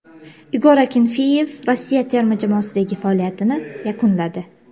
Igor Akinfeyev Rossiya terma jamoasidagi faoliyatini yakunladi.